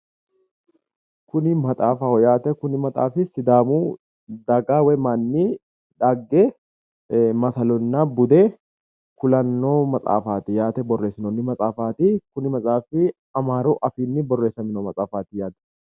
Kuni maxaafaho yaate kuni maxaafi sidaamu daga woy manni dhagge masalonna bude kulanno mxaaffati yaate borreessinoonni maxaafaati kuni maxaafi amaaru afiinni borreessamino maxaafaati.